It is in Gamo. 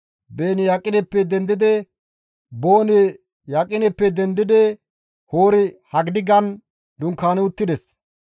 Beeni Yaqineppe dendidi Hori-Haggidigan dunkaani uttides.